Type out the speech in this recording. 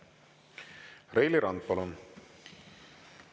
Reili Rand, palun!